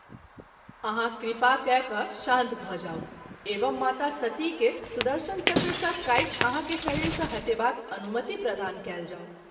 आहाँ कृपा कय क’ शान्त भ’ जाऊ एवं माता सती के सुदर्शन चक्र सँ काटि आहाँ के शरीर सँ हटेबाक अनुमति प्रदान कएल जाओ।